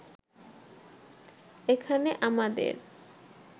এখানে আমাদের